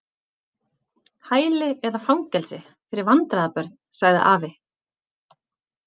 Hæli eða fangelsi fyrir vandræða- börn sagði afi.